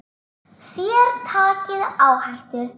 Þér takið áhættu.